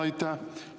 Aitäh!